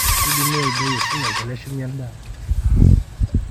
keidimi aiboi eshumash teneshumi endaa aitobiraki